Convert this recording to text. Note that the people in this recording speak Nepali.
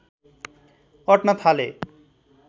अट्न थाले